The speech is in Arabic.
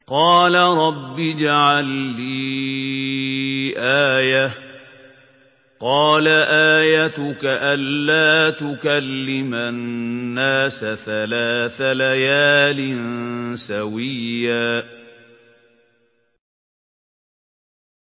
قَالَ رَبِّ اجْعَل لِّي آيَةً ۚ قَالَ آيَتُكَ أَلَّا تُكَلِّمَ النَّاسَ ثَلَاثَ لَيَالٍ سَوِيًّا